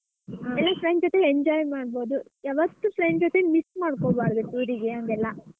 friends ಜೊತೆ enjoy ಮಾಡ್ಬೋದು ಯಾವತ್ತೂ friends ಜೊತೆ miss ಮಾಡ್ಕೋಬಾರ್ದು tour ಗೆ ಹಂಗೆಲ್ಲಾ.